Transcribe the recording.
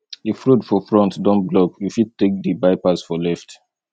if road for front don block we fit take di bypass for left